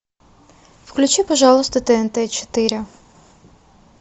включи пожалуйста тнт четыре